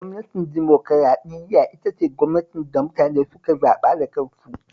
Gwamnatin dimokuraɗiyya ita ce gwamnatin da mutane suke zaɓa da kansu